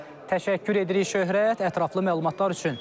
Təşəkkür edirik Şöhrət, ətraflı məlumatlar üçün.